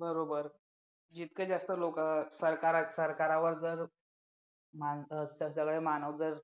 बरोबर जितके जास्त लोक सरकार सरकारवर जर माणसं असतात सगळे मानव जर